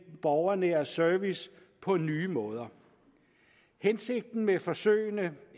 borgernære service på nye måder hensigten med forsøgene